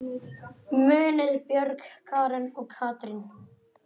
Munið Björg, Karen og Katrín.